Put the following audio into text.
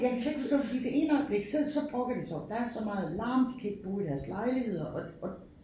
Jeg kan slet ikke forstå det fordi det ene øjeblik så så brokker de sig over der er så meget larm de kan ikke bo i deres lejligheder og og